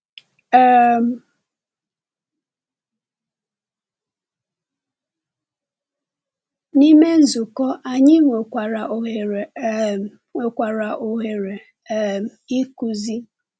um N’ime nzukọ, anyị nwekwara ohere um nwekwara ohere um ịkụzi.